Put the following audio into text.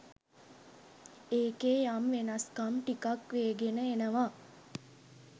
එකේ යම් වෙනස්කම් ටිකක් වේගෙන එනවා.